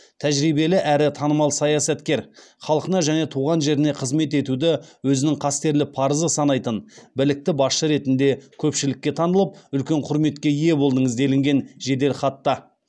тәжірибелі әрі танымал саясаткер халқына және туған жеріне қызмет етуді өзінің қастерлі парызы санайтын білікті басшы ретінде көпшілікке танылып үлкен құрметке ие болдыңыз делінген жеделхатта